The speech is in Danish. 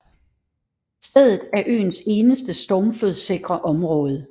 Stedet er øens eneste stormflodssikre område